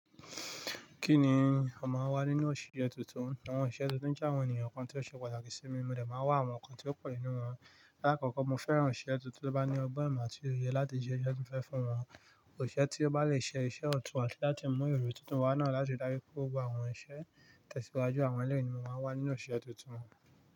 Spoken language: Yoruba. Kí ni ó máa ń wà nínú òṣìṣẹ tuntun? Àwọn oṣiṣẹ tuntun jẹ́ àwọn ènìyàn kan tó ṣe pàtàkì sí mi, mo dẹ máa n wá àwọn ǹkan tí ó pọ̀ nínú wọn. Láàkọ́kọ́ mo fẹ́ran oṣiṣẹ tuntun, tó bá ní ọgbọ́n ìmọ̀ àti òye láti ṣe iṣẹ́ ti mo fẹ́ fún wọn. Òṣìsẹ́ tí ó bá le ṣe iṣẹ́ ọ̀tún àti láti mú ìrò tuntun wá náà láti dá bí ko wo àwọn iṣẹ́ tẹ̀síwájú àwọn ẹlẹ́yìí ni mo máa wà nínú òṣìsẹ tuntun.